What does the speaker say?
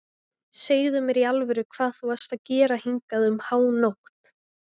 Segðu mér í alvöru hvað þú varst að gera hingað um hánótt.